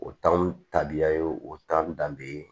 O tabiya ye o tɔn danbe